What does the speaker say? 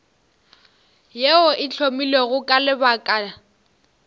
yeo e hlomilwego ka lebaka